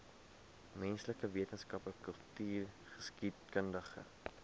menslike wetenskappe kultureelgeskiedkundige